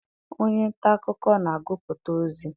Onye nta akụkọ na-agụpụta ozi.